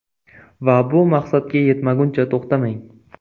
Va bu maqsadga yetmaguncha to‘xtamang.